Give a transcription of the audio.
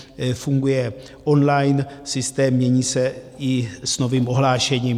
Funguje online systém, mění se i s novým ohlášením.